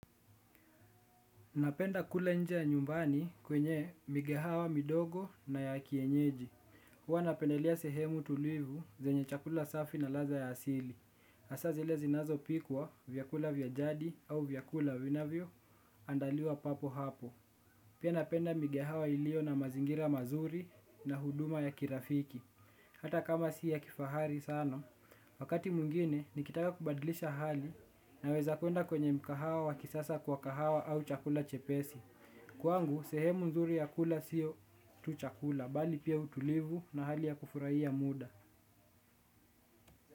Napenda kula nje nyumbani kwenye migahawa midogo na ya kienyeji. Huwa napendelea sehemu tulivu zenye chakula safi na ladha ya asili. Hasa zile zinazopikwa vyakula vya jadi au vyakula vinavyoandaliwa papo hapo. Pia napenda migahawa iliyo na mazingira mazuri na huduma ya kirafiki. Hata kama si ya kifahari sana, wakati mwingine nikitaka kubadlisha hali naweza kwenda kwenye mgahawa kisasa kwa kahawa au chakula chepesi. Kwangu sehemu nzuri ya kula siyo tu chakula bali pia utulivu na hali ya kufurahia muda.